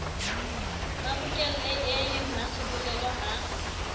mabokelle e e mmasebolelo ha